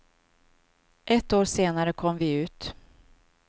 Ett år senare kom vi ut.